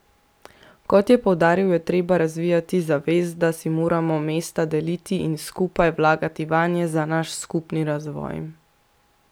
Kot je poudaril, je treba razvijati zavest, da si moramo mesta deliti in skupaj vlagati vanje za naš skupni razvoj.